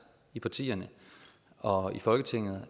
af partierne og i folketinget